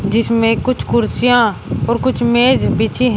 जिसमें कुछ कुर्सियां और कुछ मेज बिछी हैं।